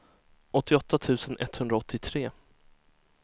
åttioåtta tusen etthundraåttiotre